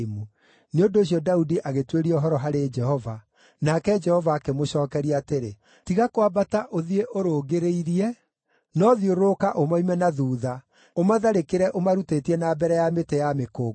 nĩ ũndũ ũcio Daudi agĩtuĩria ũhoro harĩ Jehova, nake Jehova akĩmũcookeria atĩrĩ, “Tiga kwambata ũthiĩ ũrũngĩrĩirie, no thiũrũrũka ũmoime na thuutha, ũmatharĩkĩre ũmarutĩtie na mbere ya mĩtĩ ya mĩkũngũgũ.